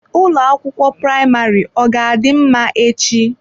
Ụlọ akwụkwọ praịmarị ọ ga-adị mma echi?